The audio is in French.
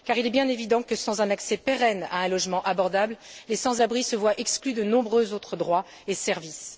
Car il est bien évident que sans un accès pérenne à un logement abordable, les sans abris se voient exclus de nombreux autres droits et services.